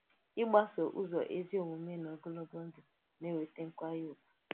Ị̀gbàsò ụzọ ezi omume n’ogologo ndụ na-èweta nkwànyè ùgwù.